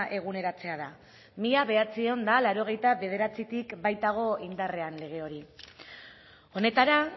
eguneratzea da mila bederatziehun eta laurogeita bederatzitik baitago indarrean lege hori honetara